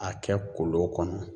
A kɛ kolo kɔnɔ.